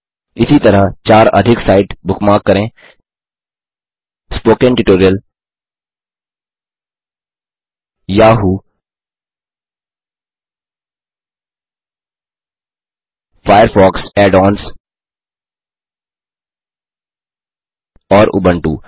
इसी तरह चार अधिक साइट बुकमार्क करें स्पोकेन ट्यूटोरियल yahooफायरफॉक्स add ओन्स और उबुंटू